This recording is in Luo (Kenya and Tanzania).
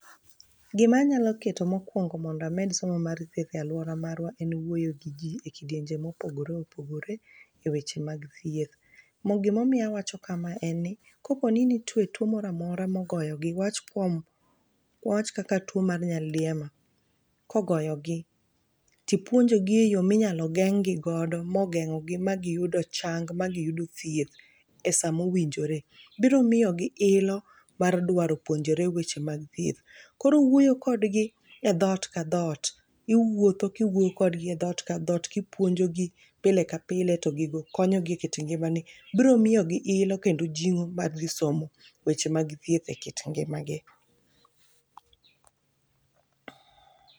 Gimanyalo keto mokwongo mondo amed somo mar thieth e alwora marwa, en wuoyo gi ji e kidenye mopogore opogore,e weche mag thieth. Gimomiyo awacho kamae en ni, kopo ni nitie tuwo mora mora mogoyogi ,wawach kaka tuwo mar nyaldiema kogoyogi, tipuonjogi e yo minyalo geng'gi godo mogeng'ogi ma giyudo chang, ma giyudo thieth e sama owinjore. Biro miyogi ilo mar dwaro puonjore weche mag thieth. Koro wuoyo kodgi e dhot ka dhot. Iwuotho kiwuoyo kodgi e dhot ka dhot kipuonjogi pile ka pile ,to gigo konyogi e kit ngimani. Biro miyo gi ilo kendo jing'o mar dhi somo weche mag thieth e kit ngimagi.